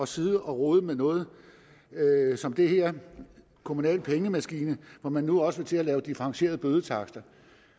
sidde og rode med noget som det her en kommunal pengemaskine hvor man nu også vil til at lave differentierede bødetakster